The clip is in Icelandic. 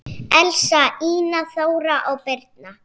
Elsa, Ína, Þóra og Birna.